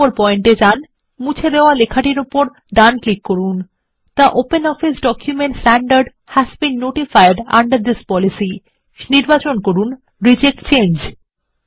এক নম্বর পয়েন্ট এ যান এবং মুছে দেওয়া লেখা এর উপর ডান ক্লিক করুন the OpenOffice document standard has been notified under this policy এবং নির্বাচন করুন রিজেক্ট চেঞ্জ